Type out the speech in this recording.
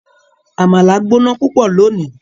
Amala gbona pupọ loni